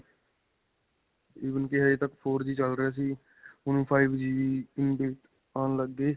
even ਕੀ ਹਜੇ ਤੱਕ four G ਚੱਲ ਰਹੇ ਸੀ. ਹੁਣ five G ਆਉਣ ਲੱਗ ਗਏ.